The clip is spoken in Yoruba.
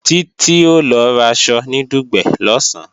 Títí o lọ raṣọ ní Dùgbẹ̀ lọ̀sán